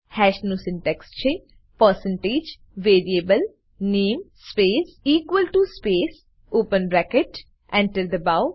હાશ નું સિન્ટેક્સ છે percentage variable નામે space equal to space open bracket Enter દબાઓ